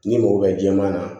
N'i mago bɛ jɛman na